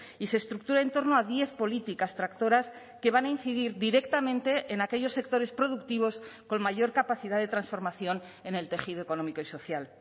y se estructura en torno a diez políticas tractoras que van a incidir directamente en aquellos sectores productivos con mayor capacidad de transformación en el tejido económico y social